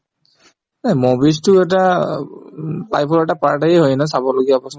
এই movies তো এটা উম এটা হয় ন চাবলগীয়া বস্তু